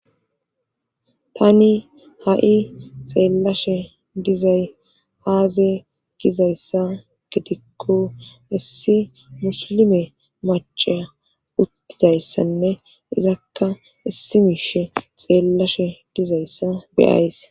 Tani ha7i xeellashe dizay aaze gizayssa gidikko issi musilime machaa uttidayssanne izakka issi miishe xeellashe dizayssa beyays.